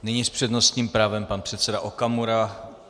Nyní s přednostním právem pan předseda Okamura.